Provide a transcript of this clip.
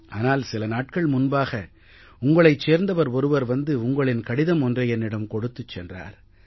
ஆனால் சில நாட்கள் முன்பாக உங்களைச் சேர்ந்தவர் ஒருவர் வந்து உங்களின் கடிதம் ஒன்றை என்னிடம் கொடுத்துச் சென்றார்